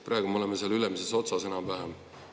Praegu me oleme seal ülemises otsas enam-vähem.